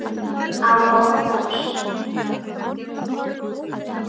Án óttans.